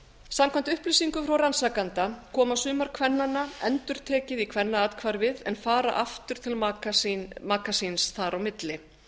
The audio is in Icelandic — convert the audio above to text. samkvæmt upplýsingum frá rannsakanda koma sumar kvennanna endurtekið í kvennaathvarfið en fara aftur til maka síns þar á milli